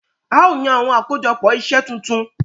A o yàn awọn akojọpọ iṣẹ tuntun.